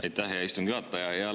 Aitäh, hea istungi juhataja!